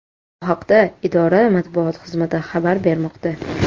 Bu haqda idora Matbuot xizmati xabar bermoqda .